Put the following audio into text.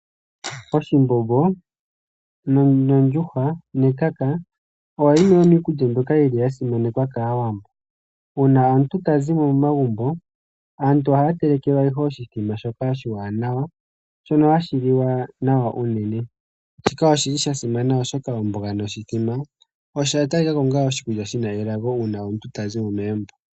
Oshimbombo nondjuhwa nekaka oyo yimwe yomiikulya mbyoka ya simanekwa kaawambo. Uuna aantu taya zi mo momagumbo ohaya telekelwa nduno oshimbombo shoka oshiwaanawa shono hashi liwa nawa unene. Shika oshili sha simana oshoka omboga noshimbombo oya talikwakwo onga iikulya yina elago uuna omuntu tazi mo megumbo.